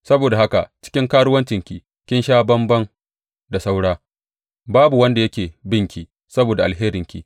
Saboda haka cikin karuwancinki kin sha bamban da saura; babu wanda yake binki saboda alheranki.